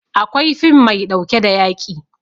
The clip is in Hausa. Akwai fim maiɗauke da yaƙi